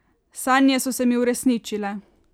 Sanje so se mi uresničile!